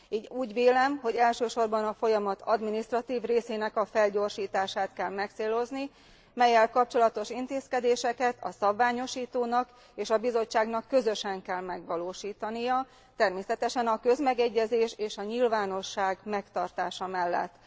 Így úgy vélem, hogy elsősorban a folyamat adminisztratív részének felgyorsítását kell megcélozni, mellyel kapcsolatos intézkedéseket a szabványosítónak és a Bizottságnak közösen kell megvalósítania, természetesen a közmegegyezés és a nyilvánosság megtartása mellett.